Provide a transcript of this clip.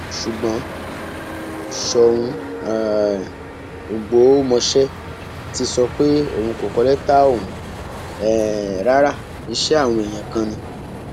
ṣùgbọn sóun um ọgbọmọṣẹ ti sọ pé òun kò kọ lẹtà ọhún um rárá iṣẹ àwọn èèyàn kan ni